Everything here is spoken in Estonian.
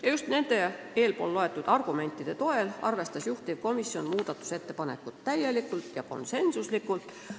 Ja just nende argumentide toel arvestas juhtivkomisjon muudatusettepanekut täielikult ja konsensuslikult.